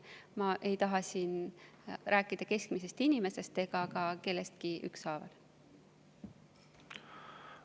Ma ei taha siin rääkida keskmisest inimesest ega üldse kellestki.